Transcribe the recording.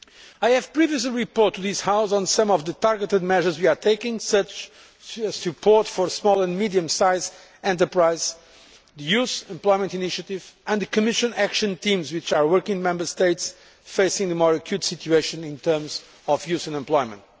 I have previously reported to this House on some of the targeted measures we are taking, such as support for small and medium sized enterprises, the Youth Employment Initiative and the Commission action teams, which are working in Member States facing a more acute situation in terms of youth unemployment.